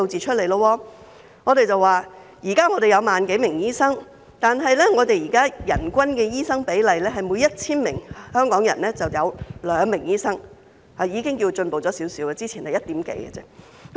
目前，香港有 10,000 多名醫生，但人均的醫生比例是每 1,000 名香港人有2名醫生，這已是略有進步，之前只有一點幾名。